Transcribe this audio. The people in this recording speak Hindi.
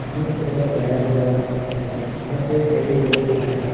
ये पूरा सजाया हुआ है यहां पे कई लोग है।